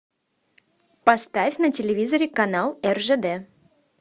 поставь на телевизоре канал ржд